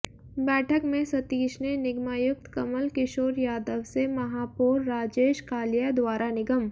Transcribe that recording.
बैठक में सतीश ने निगमायुक्त कमल किशोर यादव से महापौर राजेश कालिया द्वारा निगम